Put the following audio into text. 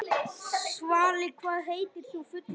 Svali, hvað heitir þú fullu nafni?